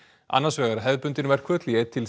annars vegar hefðbundin verkföll í einn til